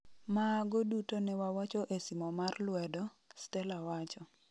Maago duto newawacho e simo mar lwedo,'Stella wacho.